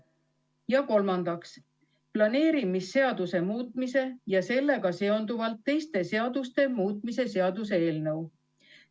Ja kolmandaks, planeerimisseaduse muutmise ja sellega seonduvalt teiste seaduste muutmise seaduse eelnõu.